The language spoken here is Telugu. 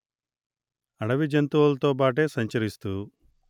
అడవిజంతువులతో పాటే సంచరిస్తూ